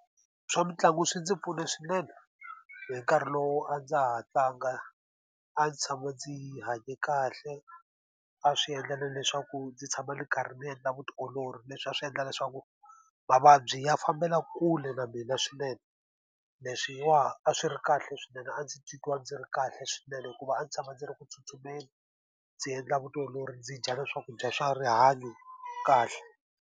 Swa mitlangu swi ndzi pfune swinene hi nkarhi lowu a ndza ha tlanga. A ndzi tshama ndzi yi hanye kahle, a swi endla na leswaku ndzi tshama ndzi karhi ndzi endla vutiolori. Leswi a swi endla leswaku mavabyi ya fambela kule na mina swinene, leswiwani a swi ri kahle swinene. A ndzi titwa ndzi ri kahle swinene hikuva a ndzi tshama ndzi ri ku tsutsumeni, ndzi endla vutiolori, ndzi dya swakudya swa rihanyo kahle.